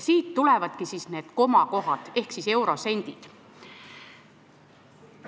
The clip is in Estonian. Siit tulevadki need komakohad ehk sendid.